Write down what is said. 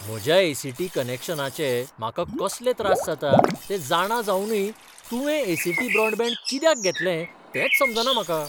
म्हज्या ए. सी. टी. कनॅक्शनाचे म्हाका कसले त्रास जातात तें जाणां जावनय तुवें ए. सी. टी. ब्रॉडबँड कित्याक घेतलें तेंच समजना म्हाका.